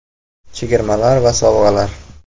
(chegirmalar va sovg‘alar).